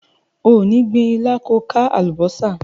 O ò ní gbin ilá ko ka àlùbọ́sà.